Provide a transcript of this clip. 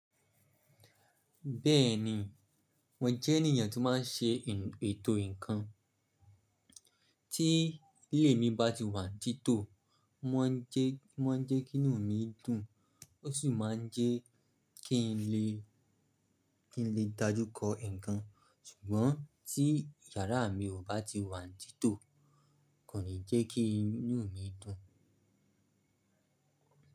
Bẹ́ẹ̀ni, mo jẹ́ ènìyàn tó má n ṣe ètò ǹkan. Tí ilé mi bá ti wà ní títò, o má n jẹ́ kí inú mi dùn, ó sì má n jẹ́ kí n lè dájú kọ ǹkan. Ṣùgbọ́n tí yàrá mi kò bá ti wà ní títò kò ní jẹ́ kí inú mi dùn.